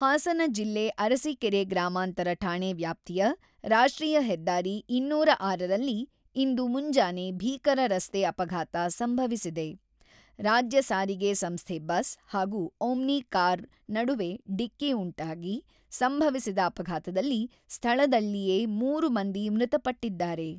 ಹಾಸನ ಜಿಲ್ಲೆ ಅರಸೀಕೆರೆ ಗ್ರಾಮಾಂತರ ಠಾಣೆ ವ್ಯಾಪ್ತಿಯ ರಾಷ್ಟ್ರೀಯ ಹೆದ್ದಾರಿ ಇನ್ನೂರ ಆರರಲ್ಲಿ ಇಂದು ಮುಂಜಾನೆ ಭೀಕರ ರಸ್ತೆ ಅಪಘಾತ ಸಂಭವಿವಿಸಿದೆ.ರಾಜ್ಯ ಸಾರಿಗೆ ಸಂಸ್ಥೆ ಬಸ್ ಹಾಗೂ ಓಮ್ಮಿ ಕಾರಿ ನಡುವೆ ಡಿಕ್ಕಿ ಉಂಟಾಗಿ ಸಂಭವಿಸಿದ ಅಪಘಾತದಲ್ಲಿ ಸ್ಥಳದಲ್ಲಿಯೇ ಮೂರು ಮಂದಿ ಮೃತಪಟ್ಟಿದ್ದಾರೆ.